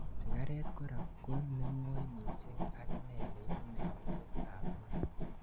sigaret korak konengoi missing aginei neibu meeyosiek ab maat